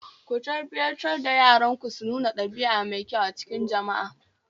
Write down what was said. Ku tarbiyyantar da yaranku su nuna ɗabia mai kyau a cikin jama'a